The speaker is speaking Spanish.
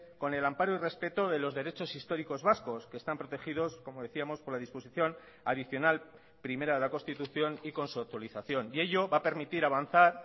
con el amparo y respeto de los derechos históricos vascos que están protegidos como decíamos por la disposición adicional primera de la constitución y con su actualización y ello va a permitir avanzar